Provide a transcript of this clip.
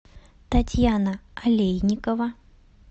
татьяна олейникова